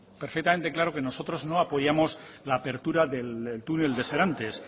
perfectamente claro que nosotros no apoyamos la apertura del túnel de serantes